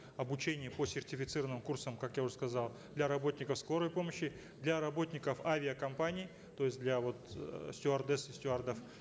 обучение по сертифицированным курсам как я уже сказал для работников скорой помощи для работников авиакомпаний то есть для вот э стюардесс и стюардов